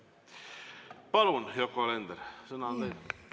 Palun, Yoko Alender, sõna on teil!